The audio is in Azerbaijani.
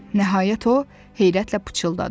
Nəhayət o heyrətlə pıçıldadı.